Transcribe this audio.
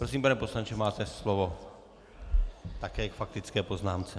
Prosím, pane poslanče, máte slovo také k faktické poznámce.